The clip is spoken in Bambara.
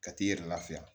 Ka t'i yɛrɛ lafiya